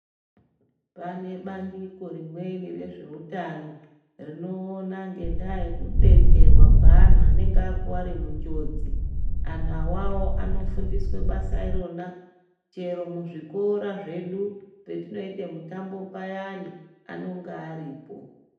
Pane bandiko rimweni rezveutano rinoona ngendaa yekudetserwa kweanhu anenge akuwara munjodzi. Anhu awawo anofundiswe basa irona, chero muzvikora zvedu, patinoite mitambo payani ,anonga aripo.